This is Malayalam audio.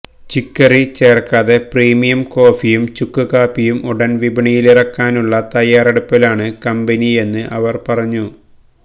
ചിക്കറി ചേർക്കാതെ പ്രീമിയം കോഫിയും ചുക്ക് കാപ്പിയും ഉടൻ വിപണിയിലിറക്കാനുള്ള തയ്യാറെടുപ്പിലാണ് കമ്പനിയെന്ന് ഇവർ പറഞ്ഞു